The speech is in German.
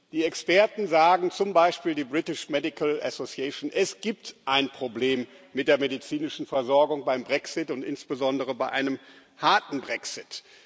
Die Experten, zum Beispiel die British Medical Association, sagen Es gibt ein Problem mit der medizinischen Versorgung beim Brexit und insbesondere bei einem harten Brexit.